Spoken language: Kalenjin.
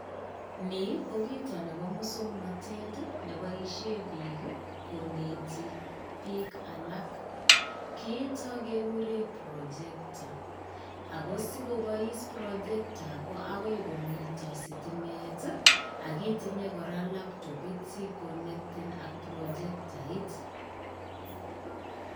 Ni ko kiito nebo muswaknated neboishe biik koneti biik alak kiito kegure projector. Ako sikobois projector ko agoi komito sitimet ak kitinye kora labtopit sikonectan ak projectoit.